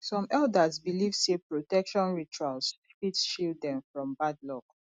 some elders believe sey protection rituals fit shield dem from bad luck